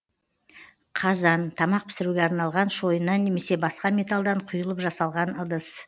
қазан тамақ пісіруге арналған шойыннан немесе басқа металдан құйылып жасалған ыдыс